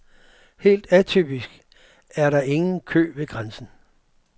Helt atypisk er der ingen kø ved grænsen.